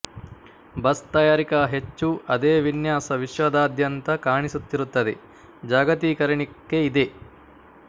bus ತಯಾರಿಕಾ ಹೆಚ್ಚು ಅದೇ ವಿನ್ಯಾಸ ವಿಶ್ವದಾದ್ಯಂತ ಕಾಣಿಸುತ್ತಿರುತ್ತದೆ ಜಾಗತೀಕರಣಕ್ಕೆ ಇದೆ